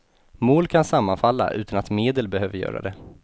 Mål kan sammanfalla, utan att medel behöver göra det.